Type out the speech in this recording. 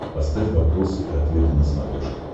поставь вопросы и ответы на смотрешке